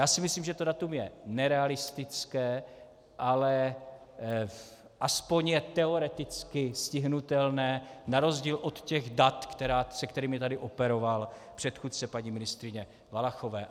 Já si myslím, že to datum je nerealistické, ale aspoň je teoreticky stihnutelné na rozdíl od těch dat, se kterými tady operoval předchůdce paní ministryně Valachové.